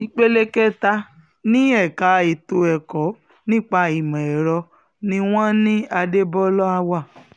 ìpele kẹta ni um ẹ̀ka ètò ẹ̀kọ́ nípa ìmọ̀ ẹ̀rọ ni wọ́n ní adébólà wà um